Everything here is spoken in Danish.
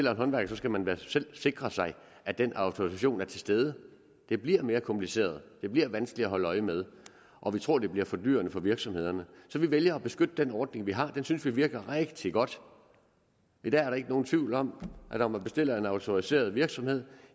en håndværker skal man da selv sikre sig at den autorisation er til stede det bliver mere kompliceret det bliver vanskeligere at holde øje med og vi tror det bliver fordyrende for virksomhederne så vi vælger at beskytte den ordning vi har den synes vi virker rigtig godt der er ikke nogen tvivl om at når man bestiller en autoriseret virksomhed